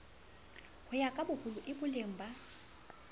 ho ya kaboholo ieboleng ba